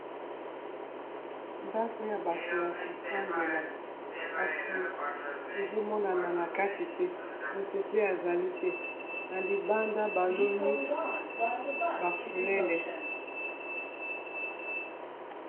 Ndako ya bato ya kofandela kasi ezo monana na kati te moto pe azali te na libanda baloni bafulele.